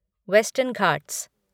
western Ghat